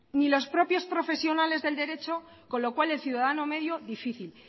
ni los propios profesionales del derecho con lo cual el ciudadano medio difícil